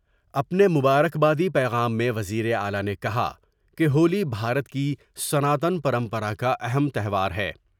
اپنے مبارکبادی پیغام میں وزیر اعلی نے کہا کہ ہولی بھارت کی سناتن پرمپرا کا اہم تیوہار ہے ۔